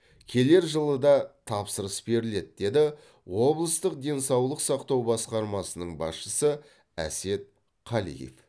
келер жылы да тапсырыс беріледі деді облыстық денсаулық сақтау басқармасының басшысы әсет қалиев